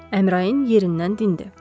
Əmrayın yerindən dindi.